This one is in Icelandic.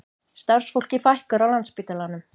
Starfsfólki fækkar á Landspítalanum